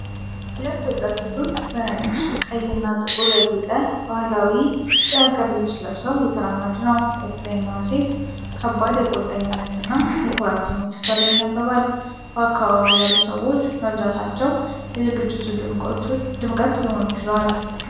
ሁለት ወጣት ሴቶች በነጭ፣ ቀይ እና ጥቁር ያጌጠ ባህላዊ የሀገር ልብስ ለብሰው እየተራመዱ ነው:: የፊተኛዋ ሴት ከባድ የቁርጠኝነት እና የኩራት ስሜት ፊቷ ላይ ይነበባል:: በአካባቢው ያሉ ሰዎች መብዛታቸው የ ዝግጅቱ ድምቀት ሊሆኑ ችለዋል::